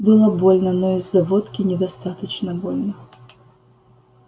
было больно но из-за водки недостаточно больно